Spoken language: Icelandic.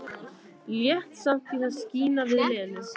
Lét samt í það skína við Lenu.